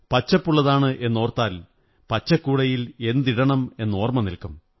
പച്ചപ്പുള്ളതാണെന്നോര്ത്താ ൽ പച്ചക്കൂടയിൽ എന്തിടണമെന്നോര്മ്മമനില്ക്കും